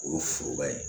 O ye foroba ye